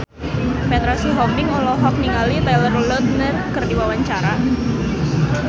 Petra Sihombing olohok ningali Taylor Lautner keur diwawancara